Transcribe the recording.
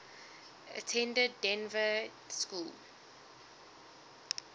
attended dynevor school